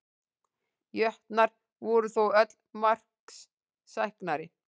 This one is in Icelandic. Jötnar voru þó öllu marksæknari